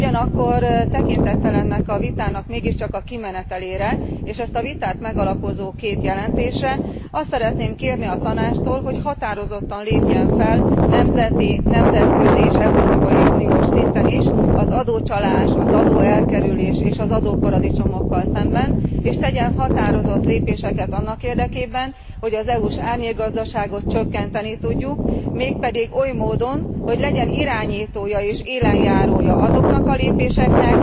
Ugyanakkor tekintettel ennek a vitának a kimenetelére és az ezt a vitát megalapozó két jelentésre, azt szeretném kérni a Tanácstól, hogy határozottan lépjen fel nemzeti, nemzetközi és európai uniós szinten is az adócsalással, az adóelkerüléssel és az adóparadicsomokkal szemben, és tegyen határozott lépéseket annak érdekében, hogy az EU s árnyékgazdaságot csökkenteni tudjuk, mégpedig oly módon, hogy legyen irányítója és élenjárója azoknak a lépéseknek,